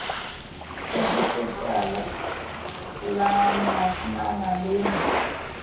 sa kgotsofalang la marenana le